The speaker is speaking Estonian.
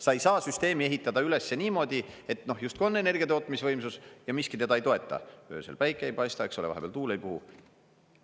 Sa ei saa süsteemi ehitada üles niimoodi, et justkui on energiatootmisvõimsus ja miski teda ei toeta, öösel päike ei paista, eks ole, vahepeal tuul ei puhu.